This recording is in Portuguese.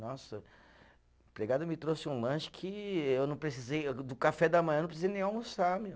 Nossa, o empregado me trouxe um lanche que eu não precisei, do café da manhã eu não precisei nem almoçar meu.